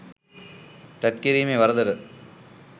තැත්කිරීමේ වරදට